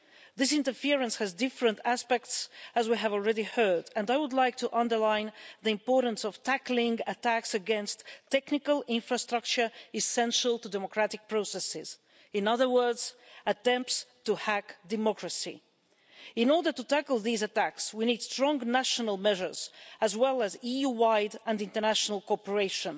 This interference has different aspects, as we have already heard, and I would like to underline the importance of tackling attacks against technical infrastructure essential to democratic processes, in other words, attempts to hack democracy. In order to tackle these attacks, we need strong national measures as well as EU-wide and international cooperation.